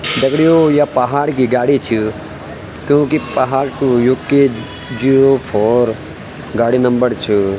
दगड़ियों या पहाड़ की गाडी च क्यूंकि पहाड़ कु यु के जीरो फोर गाडी नंबर च।